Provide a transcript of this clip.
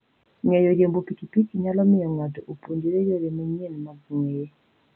Ng'eyo riembo pikipiki nyalo miyo ng'ato opuonjre yore manyien mag ng'weye.